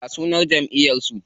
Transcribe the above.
Ya sunan jamʼiyar su?